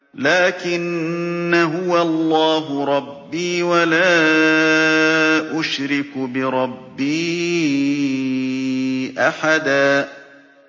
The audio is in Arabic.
لَّٰكِنَّا هُوَ اللَّهُ رَبِّي وَلَا أُشْرِكُ بِرَبِّي أَحَدًا